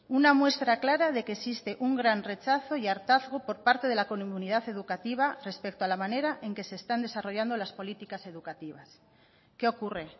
una muestra clara de que existe un gran rechazo y hartazgo por parte de la comunidad educativa respecto a la manera en que se están desarrollando las políticas educativas qué ocurre